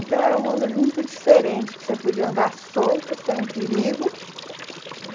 Então era um mundo muito diferente, que você podia andar solta, sem perigo.